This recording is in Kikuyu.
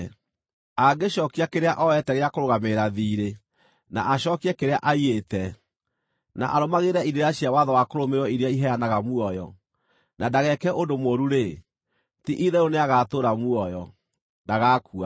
angĩcookia kĩrĩa ooete gĩa kũrũgamĩrĩra thiirĩ, na acookie kĩrĩa aiyĩte, na arũmagĩrĩre irĩra cia watho wa kũrũmĩrĩrwo iria iheanaga muoyo, na ndageke ũndũ mũũru-rĩ, ti-itherũ nĩagatũũra muoyo; ndagakua.